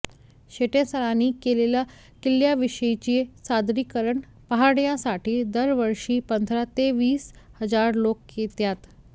शेटेसरांनी केलेले किल्ल्याविषयीचे सादरीकरण पाहण्यासाठी दरवर्षी पंधरा ते वीस हजार लोक येतात